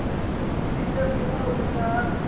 amfihle kuyo unyana